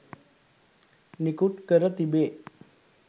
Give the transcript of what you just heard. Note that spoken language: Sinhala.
නිකුත් කර තිබේ.